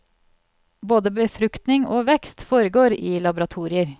Både befruktning og vekst foregår i laboratorier.